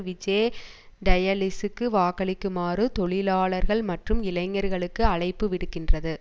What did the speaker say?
VJ டயலிஸுக்கு வாக்களிக்குமாறு தொழிலாளர்கள் மற்றும் இளைஞர்களுக்கு அழைப்பு விடுக்கின்றது